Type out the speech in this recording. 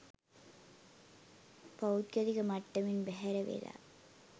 පෞද්ගලික මට්ටමෙන් බැහැර වෙලා